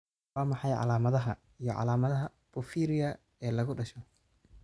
Waa maxay calaamadaha iyo calaamadaha porphyria ee lagu dhasho?